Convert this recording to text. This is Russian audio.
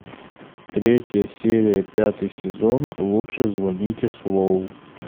третья серия пятый сезон лучше звоните солу